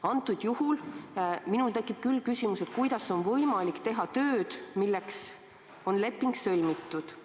Praegusel juhul tekib minul küll küsimus, kuidas on võimalik teha tööd, milleks leping on sõlmitud.